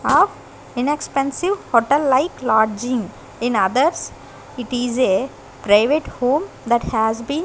of inexpensive hotel like lodging in others it is a private home that has been --